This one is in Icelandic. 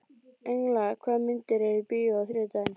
Engla, hvaða myndir eru í bíó á þriðjudaginn?